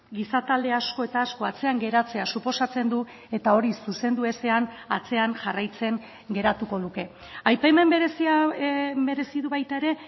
gizatalde asko eta asko atzean geratzea suposatzen du eta hori zuzendu ezean atzean jarraitzen geratuko luke aipamen berezia merezi du baita ere